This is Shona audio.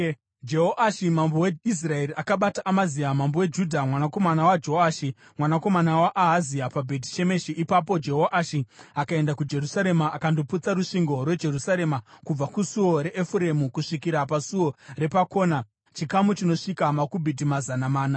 Jehoashi mambo weIsraeri akabata Amazia mambo weJudha, mwanakomana waJoashi, mwanakomana waAhazia, paBheti Shemeshi. Ipapo Jehoashi akaenda kuJerusarema akandoputsa rusvingo rweJerusarema kubva kuSuo raEfuremu kusvikira paSuo repaKona chikamu chinosvika makubhiti mazana mana .